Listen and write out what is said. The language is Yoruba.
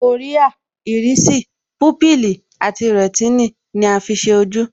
Kòríà, Ìrísì, púpìlì àti rẹ̀tínì ni a fi ṣe ojú